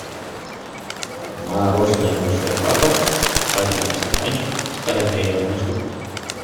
мороженое большой папа в вафельном стаканчике с карамелью одна штука